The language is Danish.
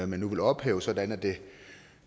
man nu vil ophæve sådan at det